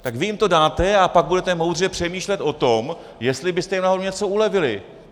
Tak vy jim to dáte a pak budete moudře přemýšlet o tom, jestli byste jim náhodou něco ulevili!